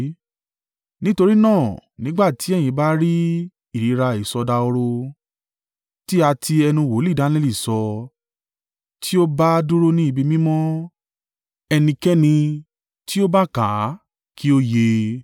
“Nítorí náà, nígbà tí ẹ̀yin bá rí ìríra ‘ìsọdahoro, tí a ti ẹnu wòlíì Daniẹli sọ,’ tí ó bá dúró ní ibi mímọ́ (ẹnikẹ́ni tí ó bá kà á kí ó yé e),